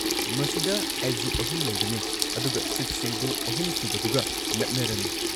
ꯃꯁꯤꯗ ꯑꯦꯛꯖꯤꯠ ꯑꯍꯨꯝ ꯂꯩꯒꯅꯤ, ꯑꯗꯨꯒ ꯁꯤꯠꯁꯤꯡꯗꯨ ꯑꯍꯨꯝꯁꯨꯕꯗꯨꯒ ꯅꯛꯅꯔꯅꯤ꯫